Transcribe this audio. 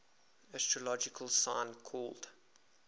astrological sign called